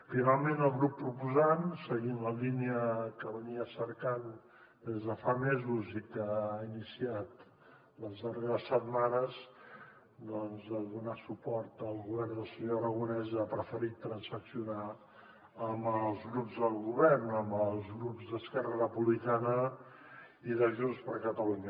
finalment el grup proposant seguint la línia que cercava des de fa mesos i que ha iniciat les darreres setmanes doncs de donar suport al govern del senyor aragonès ha preferit transaccionar amb els grups del govern amb els grups d’esquerra republicana i de junts per catalunya